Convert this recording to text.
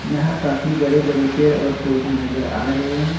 यहां काफी बड़े बड़े पेड़ और पौधे नजर आ रहे हैं।